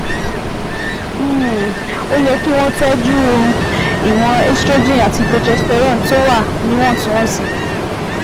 um Ó yẹ kí wọ́n tọ́jú ìwọ̀n estrogen àti progesterone tó wà níwọ̀ntúnwọ̀nsì